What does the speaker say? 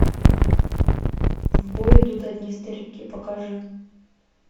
в бой идут одни старики покажи